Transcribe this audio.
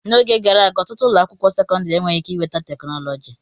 N'oge gara aga, ọtụtụ ụlọ akwụkwọ sekọndrị e weghị ike iweta teknụzụ.